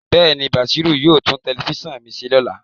Bẹẹni, Bashiru yoo tun telifisan mi se lola